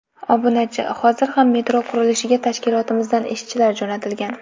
Obunachi: Hozir ham metro qurilishiga tashkilotimizdan ishchilar jo‘natilgan.